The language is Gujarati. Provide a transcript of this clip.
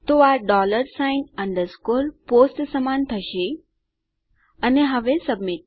તો આ ડોલર સાઇન અંડરસ્કોર પોસ્ટ સમાન હશે અને હવે સબમિટ